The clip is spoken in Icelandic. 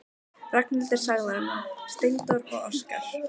Ragnhildur sagði honum það: Steindór og Óskar.